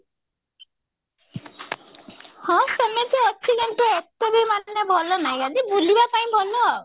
ହଁ ସେମିତି ଅଛି କିନ୍ତୁ ଏତେବି ମାନେ ଭଲ ଭଲ ନାହିଁ ଖାଲି ବୁଲିବା ପାଇଁ ଭଲ ଆଉ